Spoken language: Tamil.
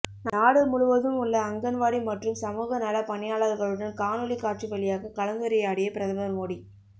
நாடு முழுவதும் உள்ள அங்கன்வாடி மற்றும் சமூக நல பணியாளர்களுடன் காணொலி காட்சி வழியாக கலந்துரையாடிய பிரதமர் மோடி